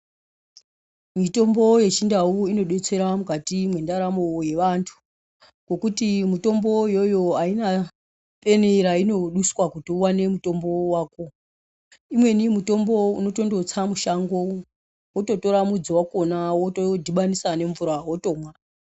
Mitombo yechindau inodetsera mukati mendaramo yevantu ngekuti mutombo iwowo Haina peni yainoduswa Kuti uwane mutombo wako imweni mitombo umototsa mushango wototora midzi wacho wotodhbanisa nemvura wotomwa.